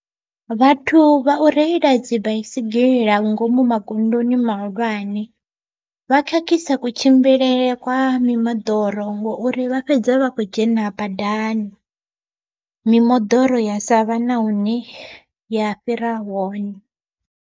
Vhathu vha u reila dzi baisigira ngomu magondoni mahulwane, vha khakhisa kutshimbilele kwa mimoḓoro ngori vha fhedza vha kho dzhena badani, mimoḓoro ya sa vha na hune ya fhira hone.